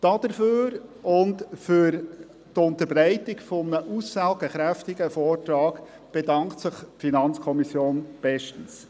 Dafür und für die Unterbreitung eines aussagekräftigen Vortrags bedankt sich die FiKo bestens.